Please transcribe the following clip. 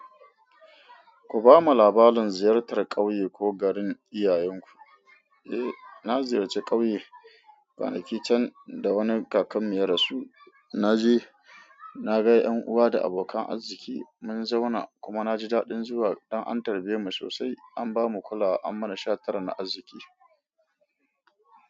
Ku bamu labalin ziyartar ƙauye ko garin iyayenku. Eh, na ziyarci ƙauye kwanaki can da wani kakanmu ya rasu. Na je, na ga ƴan uwa da abokan arziki mun zauna kuma na ji daɗin zuwa. Dan an tarbemu sosai an bamu kulawa an mana shatara na arziki.